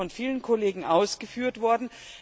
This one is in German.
Dies ist von vielen Kollegen ausgeführt worden.